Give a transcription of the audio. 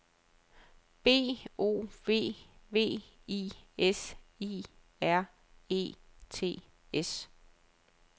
B O V V I S I R E T S